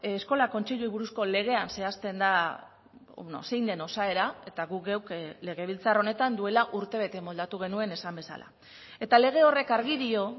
eskola kontseiluei buruzko legean zehazten da zein den osaera eta guk geuk legebiltzar honetan duela urtebete moldatu genuen esan bezala eta lege horrek argi dio